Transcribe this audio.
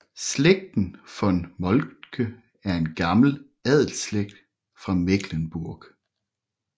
Slægten von Moltke er en gammel adelsslægt fra Mecklenburg